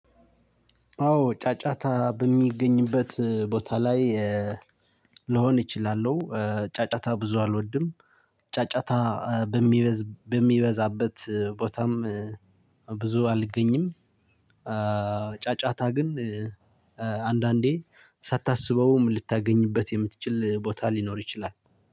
አዎ ጫጫታ በሚገኝበት ቦታ ላይ ልሆን እችላለሁ ጫጫታ ብዙ አልወድም። ጫጫታ በሚበዝ በሚበዛበት ቦታም ብዙ አልገኝም። ጫጫታ ግን አንዳንዴ ሳታስበውም ልታገኝበት የምትችል ቦታ ሊኖር ይችላል።